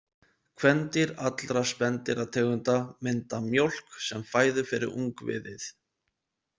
Kvendýr allra spendýrategunda mynda mjólk sem fæðu fyrir ungviðið.